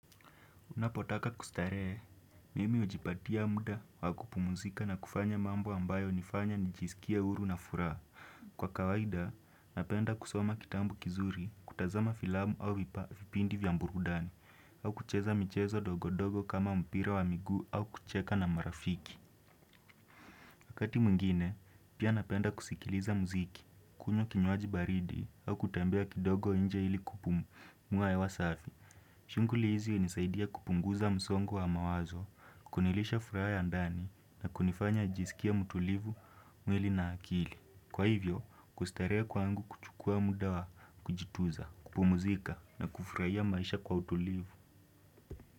Unapotaka kustarehe, mimi hujipatia muda wa kupumzika na kufanya mambo ambayo hunifanya nijisikie huru na furaha. Kwa kawaida, napenda kusoma kitabu kizuri, kutazama filamu au vipindi vya burudani, au kucheza michezo dogodogo kama mpira wa miguu au kucheka na marafiki. Wakati mwingine, pia napenda kusikiliza muziki, kunywa kinywaji baridi, au kutembea kidogo nje ili kupumua hewa safi. Shughuli hizi hunisaidia kupunguza msongo wa mawazo, kunilisha furaha ya ndani na kunifanya nijisikie mtulivu mwili na akili. Kwa hivyo, kustarehe kwangu kuchukua muda wa kujituza, kupumzika na kufurahia maisha kwa utulivu.